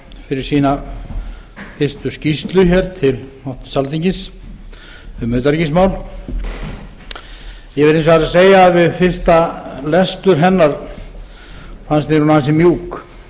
fyrir sína fyrstu skýrslu hér til háttvirtrar alþingis um utanríkismál ég verð hins vegar að segja að við fyrsta lestur hennar fannst mér hún ansi mjúk